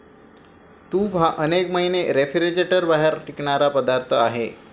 तूप हा अनेक महिने रेफ्रीजरेटरबाहेर टिकणारा पदार्थ आहे.